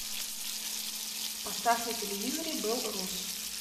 поставь на телевизоре белрос